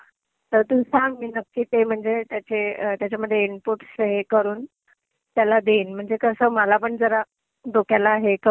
तर तू सांग. मी नक्की ते म्हणजे त्याचे, त्याच्यामध्ये इनपुट हे करून त्याला देईन. म्हणजे कसं, मलापण जरा डोक्याला हे कमी.